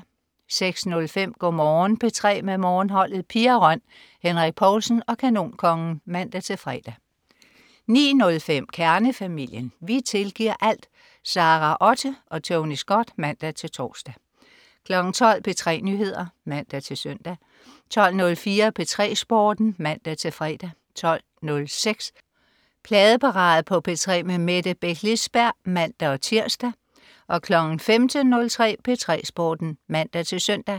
06.05 Go' Morgen P3 med Morgenholdet. Pia Røn, Henrik Povlsen og Kanonkongen (man-fre) 09.05 Kernefamilien. Vi tilgiver alt! Sara Otte og Tony Scott (man-tors) 12.00 P3 Nyheder (man-søn) 12.04 P3 Sporten (man-fre) 12.06 Pladeparade på P3 med Mette Beck Lisberg (man-tirs) 15.03 P3 Sporten (man-søn)